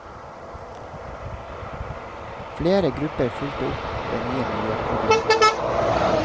Flere grupper fulgte opp det nye miljøproblemet.